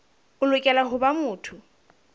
o lokela ho ba motho